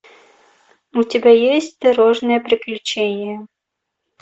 у тебя есть дорожное приключение